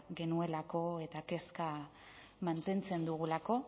genuelako eta kezka mantentzen dugulako